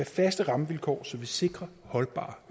faste rammevilkår så vi sikrer holdbare